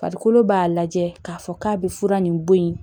Farikolo b'a lajɛ k'a fɔ k'a bɛ fura nin bɔ yen